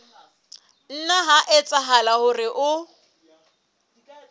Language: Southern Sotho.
nna ha etsahala hore o